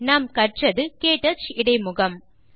நாம் கற்றது க்டச் இடைமுகம்